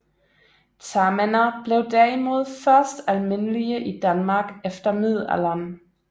Tamænder blev derimod først almindelige i Danmark efter middelalderen